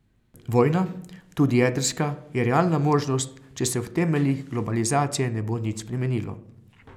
Vojna, tudi jedrska, je realna možnost, če se v temeljih globalizacije ne bo nič spremenilo.